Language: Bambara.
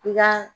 I ka